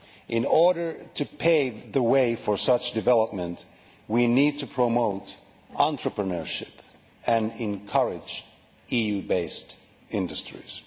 In order to pave the way for such development, we need to promote entrepreneurship and encourage EU based industries.